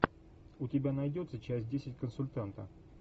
у тебя найдется часть десять консультанта